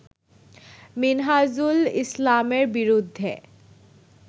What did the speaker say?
মিনহাজুল ইসলামের বিরুদ্ধে